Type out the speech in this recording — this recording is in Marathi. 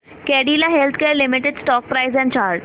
Cadila healthcare limited stock price and chart